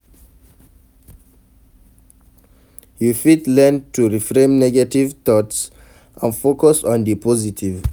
You fit learn to reframe negative thoughts and focus on di positive.